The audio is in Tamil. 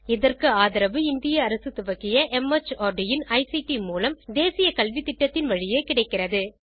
இதற்கு ஆதரவு இந்திய அரசு துவக்கிய மார்ட் இன் ஐசிடி மூலம் தேசிய கல்வித்திட்டத்தின் வழியே கிடைக்கிறது